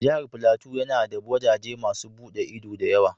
Jihar flateau ya na da wajaje masun bude ido da yawa.